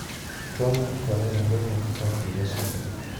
Tuo mar chorea rumo kaka kinde sudo.